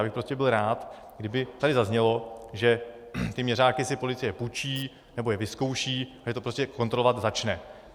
Já bych prostě byl rád, kdyby tady zaznělo, že ty měřáky si policie půjčí nebo je vyzkouší a že to prostě kontrolovat začne.